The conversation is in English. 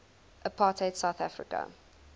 apartheid south africa